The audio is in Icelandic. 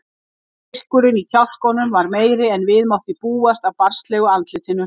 Styrkurinn í kjálkunum var meiri en við mátti búast af barnslegu andlitinu.